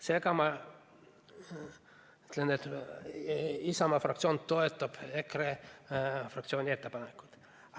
Seega ma ütlen, et Isamaa fraktsioon toetab EKRE fraktsiooni ettepanekut.